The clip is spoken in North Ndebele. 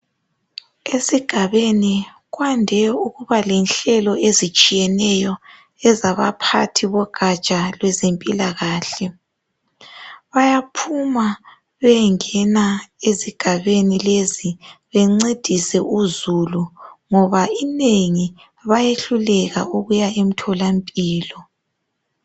Esigabeni kwande ukuba lenhlelo ezitshiyeneyo ezabaphathi bogatsha lwezempilakahle bayaphuma beyengena ezigabeni lezi bencedise uzulu ngoba inengi bayehluleka ukuya emtholampilo.